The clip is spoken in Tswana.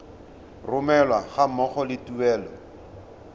romelwa ga mmogo le tuelo